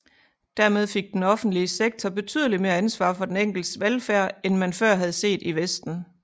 Dermed fik den offentlige sektor betydeligt mere ansvar for den enkeltes velfærd end man før havde set i vesten